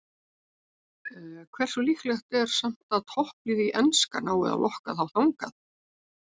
Hversu líklegt er samt að topplið í enska nái að lokka þá þangað?